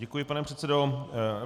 Děkuji, pane předsedo.